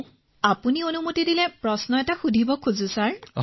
তৰন্নুম খানঃ যদি আপুনি আজ্ঞা দিয়ে তেন্তে এটা প্ৰশ্ন কৰিব বিচাৰিছো মহাশয়